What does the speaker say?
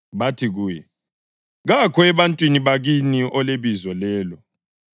Bathi kuye, “Kakho ebantwini bakini olebizo lelo.”